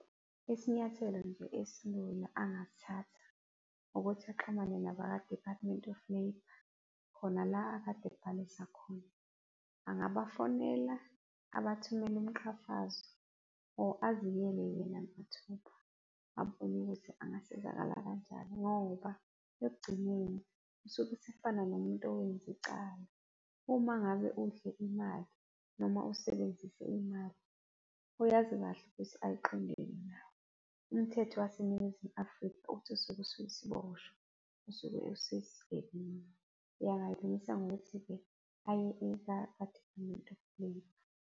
Isinyathelo nje esilula angasithatha ukuthi axhumane naba kwa-Department of Labour khona la akade ebhalisa khona. Angabafonela, abathumela umqhafazo or aziyele yena mathupha, abone ukuthi angasizakala kanjani ngoba ekugcineni usuke esefana nomuntu owenza icala. Uma ngabe udle imali noma usebenzise imali, oyazi kahle ukuthi ayiqondene nawe, umthetho waseNingizimu Afrika uthi usuke usuyisiboshwa, usuke usuyisigebengu. Angayilungisa ngokuthi-ke aye kwa-Department of Labour.